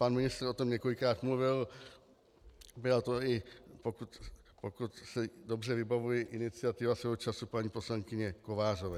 Pan ministr o tom několikrát mluvil, byla to, i pokud si dobře vybavuji, iniciativa svého času paní poslankyně Kovářové.